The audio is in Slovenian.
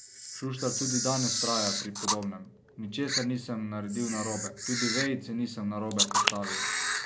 Šuštar tudi danes vztraja pri podobnem: 'Ničesar nisem naredil narobe, tudi vejice nisem narobe postavil.